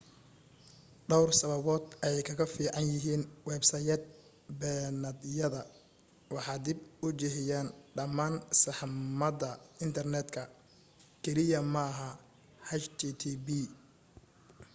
dhowr sababood ayay kaga fiican yihiin websayd beenaadyada waxay dib u jiheeyaan dhammaan saxmadda internetka keliya maaha http